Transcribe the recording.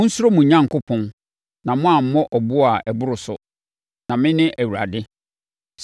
Monsuro mo Onyankopɔn na moammɔ ɛboɔ a ɛboro so! Na mene Awurade.